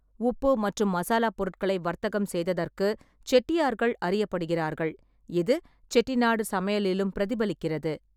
உப்பு மற்றும் மசாலா பொருட்களை வர்த்தகம் செய்ததற்கு செட்டியார்கள் அறியப்படுகிறார்கள், இது செட்டிநாடு சமையலிலும் பிரதிபலிக்கிறது.